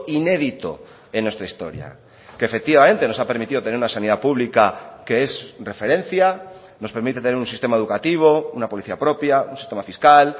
inédito en nuestra historia que efectivamente nos ha permitido tener una sanidad pública que es referencia nos permite tener un sistema educativo una policía propia un sistema fiscal